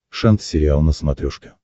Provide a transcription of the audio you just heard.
шант сериал на смотрешке